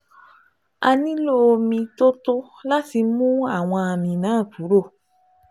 A nílò omi tó tó láti mú àwọn àmì náà kúrò